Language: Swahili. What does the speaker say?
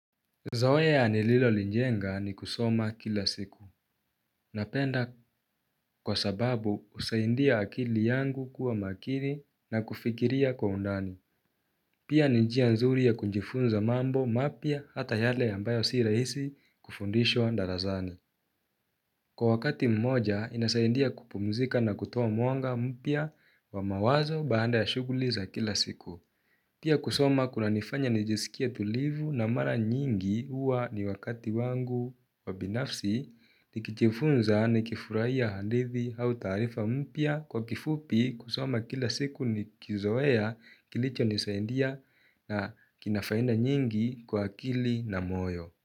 Zoea nililolijenga ni kusoma kila siku. Napenda kwasababu usaindia akili yangu kuwa makili na kufikiria kwa undani. Pia ni njia nzuri ya kujifunza mambo mapya hata yale ambayo si raisi kufundishwa ndarazani. Kwa wakati mmoja inasaidia kupumzika na kutoa mwanga mpya wa mawazo baada ya shuguli za kila siku. Pia kusoma kunanifanya nijisikie tulivu na mara nyingi uwa ni wakati wangu wa binafsi nikijifunza nikifurahia hadithi au taarifa mpya kwa kifupi kusoma kila siku nikizoea kilichonisaidia na kina faida nyingi kwa akili na moyo.